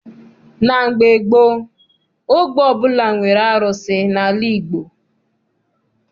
Na mgbe gboo, ogbe ọbụla nwere arụsị n'ala Igbo.